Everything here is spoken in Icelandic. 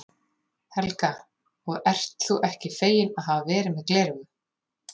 Helga: Og ert þú ekki feginn að hafa verið með gleraugu?